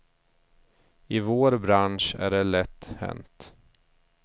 I vår bransch är det lätt hänt.